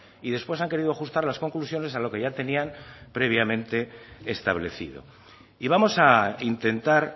y después han querido ajustar las conclusiones a lo que ya tenían previamente establecido y vamos a intentar